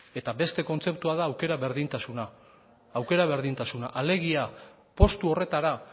eta beste kontzeptua da aukera berdintasuna alegia postu horretara